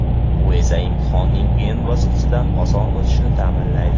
Bu esa imtihonning qiyin bosqichidan oson o‘tishni ta’minlaydi.